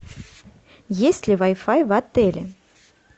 есть ли вай фай в отеле